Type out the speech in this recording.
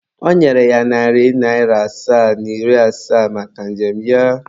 Ọ nyere ya narị naịra asaa na iri asaa maka njem ya.